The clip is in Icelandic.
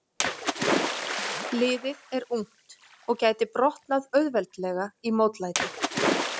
Liðið er ungt og gæti brotnað auðveldlega í mótlæti.